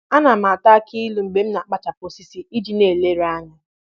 Ana m ata akị ilu mgbe m na-akpachapụ osisi iji na-eleruanya